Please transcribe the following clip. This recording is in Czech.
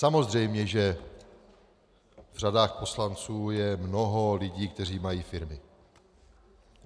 Samozřejmě že v řadách poslanců je mnoho lidí, kteří mají firmy.